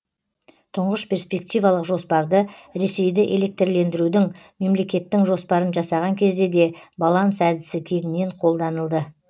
тұңғыш перспективалық жоспарды ресейді электрлендірудің мемлекеттің жоспарын жасаған кезде де баланс әдісі кеңінен қолданылды